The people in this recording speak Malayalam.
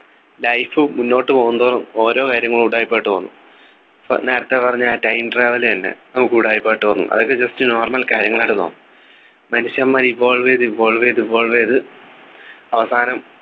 life മുന്നോട്ടു പോകുംതോറും ഓരോ കാര്യങ്ങൾ ഉടായിപ്പായിട്ട് തോന്നും ഫ നേരത്തെ പറഞ്ഞ ആ time travel തന്നെ നമുക്കു ഉടായിപ്പായിട്ട് തോന്നും അതൊക്കെ just normal കാര്യങ്ങൾ ആയിട്ട് തോന്നും മനുഷ്യന്മാരു evolve ചെയ്ത് evolve ചെയ്ത് evolve ചെയ്ത് അവസാനം